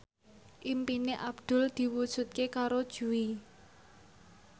impine Abdul diwujudke karo Jui